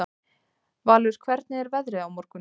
Valur, hvernig er veðrið á morgun?